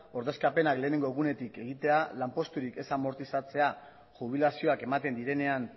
ordezkapenak lehenengo egunetik egitea lanposturik ez amortizatzea jubilazioak ematen direnean